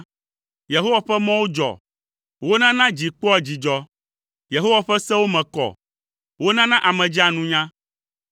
Yehowa ƒe mɔwo dzɔ, wonana dzi kpɔa dzidzɔ. Yehowa ƒe sewo me kɔ, wonana ame dzea nunya.